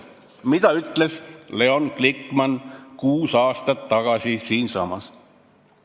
Mida ütles Leon Glikman kuus aastat tagasi siinsamas?